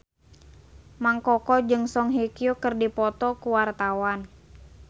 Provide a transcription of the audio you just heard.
Mang Koko jeung Song Hye Kyo keur dipoto ku wartawan